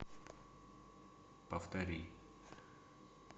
повтори